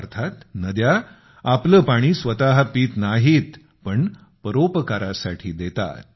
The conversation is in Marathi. अर्थात नद्या आपलं पाणी स्वतः पीत नाहीत पण परोपकारासाठी देतात